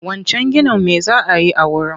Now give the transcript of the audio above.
Wancan ginin me za a yi a wurin?